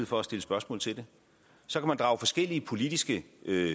for at stille spørgsmål til det så kan man drage forskellige politiske